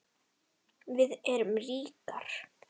Við erum ríkar